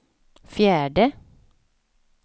fjärde